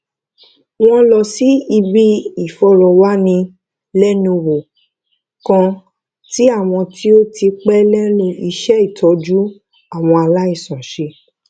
wón lọ síbi ìfòròwánilénuwò kan tí àwọn tí ó ti pé lénu iṣé títójú àwọn aláìsàn ṣe